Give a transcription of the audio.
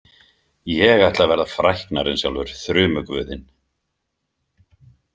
Ég ætla að verða fræknari en sjálfur þrumuguðinn.